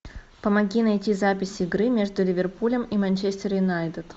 помоги найти запись игры между ливерпулем и манчестер юнайтед